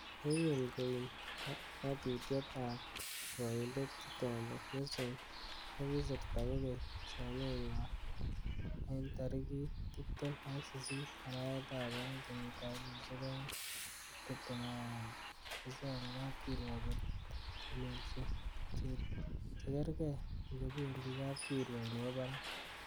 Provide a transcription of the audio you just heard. Yekin koim ngatutiet ab kirwokindet Chitembe, Yu sung ko kisirta kokeny somenywan wn tarigit tibtem ak sisit arawetab oeng, kenyitab elfusiek oeng ak tibtem ak agenge, kosome kapkirwok kotelelsi chegergei ingobendi kapkirwok nebo barak.